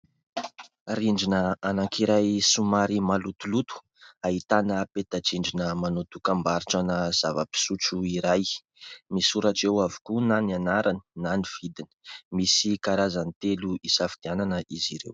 Rindrina anankiray somary malotoloto, ahitana peta-drindrina manao dokam-barotrana zava-pisotro iray. Misoratra eo avokoa na ny anarany na ny vidiny. Misy karazany telo hisafidianana izy ireo.